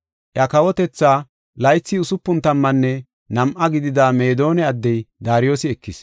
Iya kawotethaa, laythi usupun tammanne nam7a gidida Meedona addey Daariyosi ekis.